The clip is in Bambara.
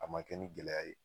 A ma kɛ ni gɛlɛya ye